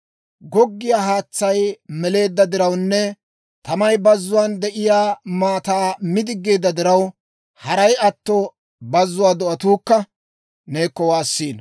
Goggiyaa haatsay meleedda dirawunne tamay bazzuwaan de'iyaa maataa mi diggeedda diraw, haray atto, bazzuwaa do'atuukka neekko waassiino.